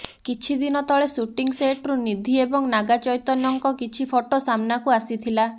କିଛି ଦିନ ତଳେ ସୁଟିଂ ସେଟରୁ ନିଧି ଏବଂ ନାଗା ଚୈତ୍ୟନଙ୍କ କିଛି ଫଟୋ ସାମ୍ନାକୁ ଆସିଥିଲା